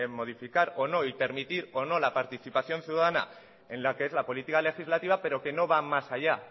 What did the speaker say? modificar o no y permitir o no la participación ciudadana en la que es la política legislativa pero que no va más allá